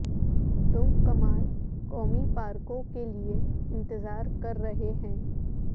تم کمال قومی پارکوں کے لئے انتظار کر رہے ہیں